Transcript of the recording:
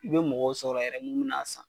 I bɛ mɔgɔw sɔrɔ yɛrɛ minnu bina a san.